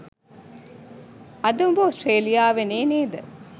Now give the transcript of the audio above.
අද උබ ඕස්ට්‍රේලියාවෙනෙ නේද?